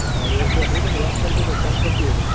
હારું હેડ ચૌધરી તન યાદ કરતો તો phone કરજે ઈન